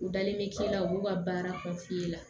U dalen bɛ k'e la u b'u ka baara ko f'i ye